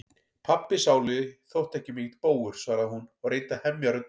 Pabbi sálugi þótti ekki mikill bógur, svaraði hún og reyndi að hemja röddina.